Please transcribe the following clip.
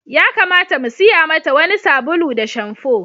Ya kamata mu siya mata wani sabulu da shamfo.